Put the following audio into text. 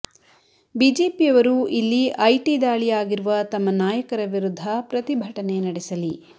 ಬಿಜೆಪಿಯವರು ಇಲ್ಲಿ ಐಟಿ ದಾಳಿ ಆಗಿರುವ ತಮ್ಮ ನಾಯಕರ ವಿರುದ್ಧ ಪ್ರತಿಭಟನೆ ನಡೆಸಲಿ